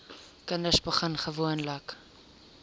kinders begin gewoonlik